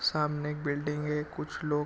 सामने एक बिल्डिंग है कुछ लोग--